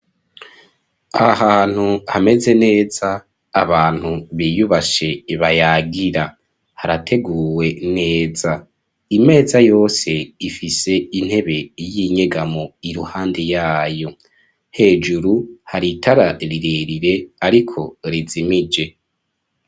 Ahantu hameze neza abantu biyubashe bayagira harateguwe neza imeza yose ifise intebe y'inyegamo iruhande yayo hejuru hari itararirerire ariko rizimije.